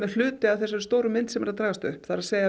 hluti af þessari stóru mynd sem er að dragast upp það er